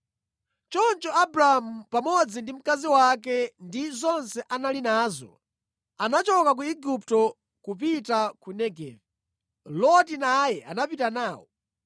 Choncho Abramu pamodzi ndi mkazi wake ndi zonse anali nazo, anachoka ku Igupto kupita ku Negevi. Loti naye anapita nawo.